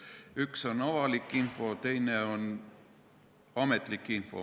Üks on avalik info, teine on ametlik info.